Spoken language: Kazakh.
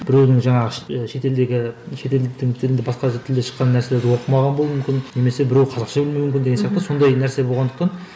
біреудің жаңағы шетелдегі шетелдіктің тілін басқа тілдегі шыққан нәрселерді оқымаған болуы мүмкін немесе біреуі қазақша білмеуі мүмкін деген сияқты сондай нәрсе болғандықтан